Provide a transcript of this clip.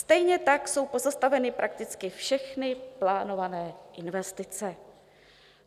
Stejně tak jsou pozastaveny prakticky všechny plánované investice.